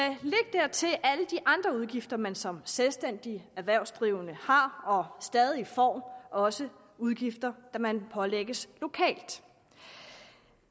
dertil alle de andre udgifter man som selvstændigt erhvervsdrivende har og stadig får også udgifter man pålægges lokalt